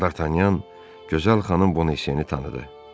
Dartanyan gözəl xanım Bonasiyeni tanıdı.